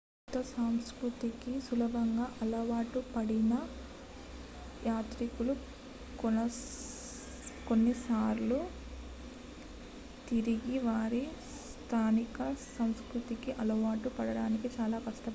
కొత్త సంస్కృతికి సులభంగా అలవాటు పడిన యాత్రికులు కొన్నిసార్లు తిరిగి వారి స్థానిక సంస్కృతికి అలవాటు పడడానికి చాలా కష్టపడతారు